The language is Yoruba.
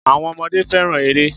Àwọn ọmọdé fẹ́ràn eré.